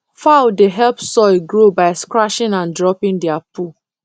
fowl dey help soil grow by scratching and dropping their poo